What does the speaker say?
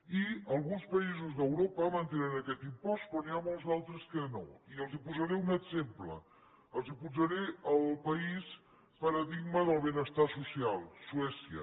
i alguns països d’europa mantenen aquest impost però n’hi molts d’altres que no i els posaré un exemple els posaré el país paradigma del benestar social suècia